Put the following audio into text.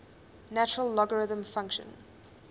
natural logarithm function